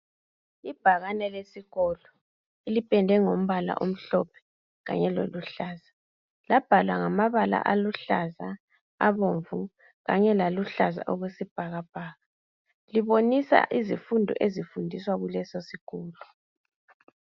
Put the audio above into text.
Ibhakane lesikolo lipendwe ngombala omhlophe kanye loluhlaza, labhalwa ngamabala aluhlaza, abomvu, kanye laluhlaza okwesibhakabhaka libonisa izifundo ezifundwa kulesosikolo.